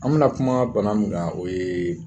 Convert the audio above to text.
An bɛna kuma bana mun kan o ye